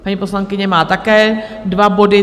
Paní poslankyně má také dva body.